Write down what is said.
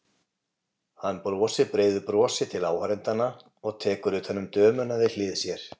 Hann brosir breiðu brosi til áhorfendanna og tekur utan um dömuna við hlið sér.